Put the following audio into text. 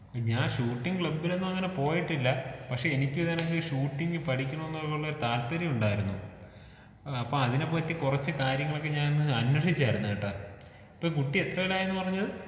ഞാൻ ഷൂട്ടിംഗ് ക്ലബ്ബിലൊന്നും അങ്ങനെ പോയിട്ടില്ലാ പക്ഷേ എനിക്ക് നോട്ട്‌ ക്ലിയർ ഷൂട്ടിംഗ് പഠിക്കണം എന്നുള്ള താല്പര്യമുണ്ടായിരുന്നു. അപ്പൊ അതിനെ പറ്റി കുറച്ച് കാര്യങ്ങളൊക്കെ ഞാനൊന്ന് അന്വേഷിച്ചായിരുന്നു കേട്ടോ. ഇപ്പൊ കുട്ടി എത്രേലായെന്ന് പറഞ്ഞത്?